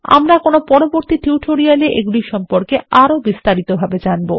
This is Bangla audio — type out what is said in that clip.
আমরা কোনো পরবর্তী টিউটোরিয়ালএ এগুলির সম্পর্কে আরোবিস্তারিত ভাবেজানবো